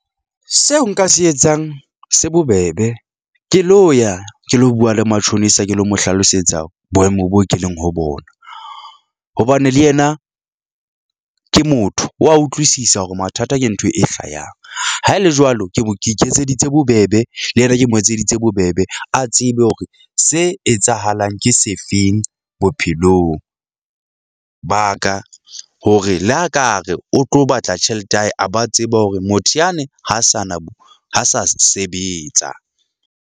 Seo nka se etsang se bobebe ke lo ya ke lo bua le matjhonisa ke lo mo hlalosetsa boemo bo keleng ho bona, hobane le yena ke motho wa utlwisisa hore mathata ke ntho e hlayang. Haele jwalo, ke mo ke iketseditse bobebe le yena, ke mo etseditse bobebe. A tsebe hore se etsahalang, ke sefeng bophelong ba ka hore le a ka re o tlo batla tjhelete ya hae, a ba tseba hore motho yane ho sa na bo ho sa sebetsa.